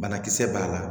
Banakisɛ b'a la